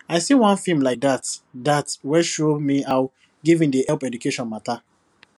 i see one film like dat dat wey show me how giving dey help education matter